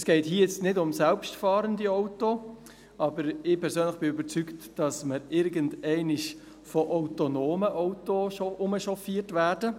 Es geht hier nicht um selbstfahrende Autos, aber ich persönlich bin überzeugt, dass wir irgendwann von autonomen Autos herumchauffiert werden.